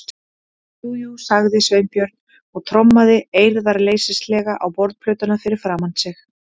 Jú, jú- sagði Sveinbjörn og trommaði eirðarleysislega á borðplötuna fyrir framan sig.